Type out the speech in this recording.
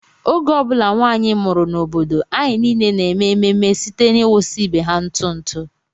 Oge ọ bụla nwanyị mụrụ n'obodo anyị niile na-eme ememe site n'ịwụsa ibe ha ntụ ntụ